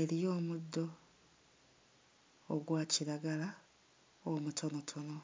eriyo omuddo ogwa kiragala omutonotono.